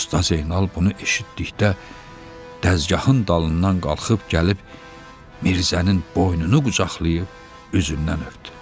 Usta Zeynal bunu eşitdikdə dəzgahın dalından qalxıb gəlib Mirzənin boynunu qucaqlayıb üzündən öpdü.